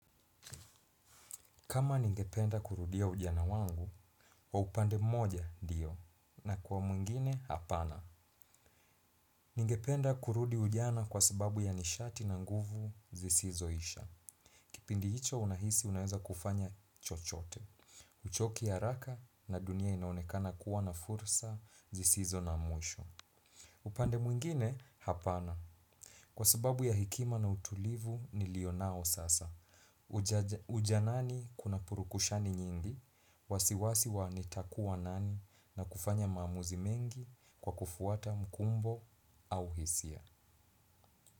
Kama ningependa kurudia ujana wangu, wa upande moja ndio, na kwa mwingine, hapana. Ningependa kurudi ujana kwa sababu ya nishati na nguvu zisizoisha. Kipindi hicho unahisi unaheza kufanya chochote. Uchoki haraka na dunia inaonekana kuwa na fursa zisizo na mwisho. Upande mwingine, hapana. Kwa sababu ya hekima na utulivu nilio nao sasa. Ujanani kuna purukushani nyingi. Wasiwasi wanitakuwa nani na kufanya mamuzi mengi kwa kufuata mkumbo au hisia.